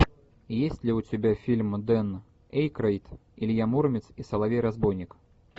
есть ли у тебя фильм дэн эйкройд илья муромец и соловей разбойник